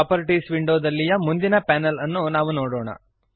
properties ವಿಂಡೋದಲ್ಲಿಯ ಮುಂದಿನ panel ಅನ್ನು ನಾವು ನೋಡೋಣ